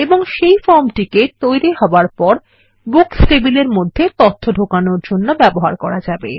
এবং এই ফর্মকে এখন বুকস টেবিলের মধ্যে তথ্য প্রবেশ করানোর জন্য ব্যবহার করা যাবে